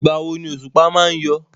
Ìgbà wo ni òṣùpá má ń yọ?